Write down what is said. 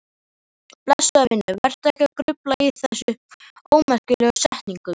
Blessaður vinur, vertu ekki að grufla í þessum ómerkilegu setningum.